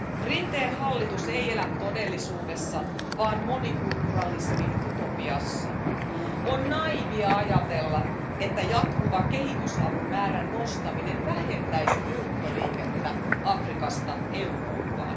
Rinteen hallitus ei elä todellisuudessa, vaan monikulturalismin utopiassa. On naiivia ajatella, että jatkuva kehitysavun määrän nostaminen vähentäisi muuttoliikettä Afrikasta Eurooppaan.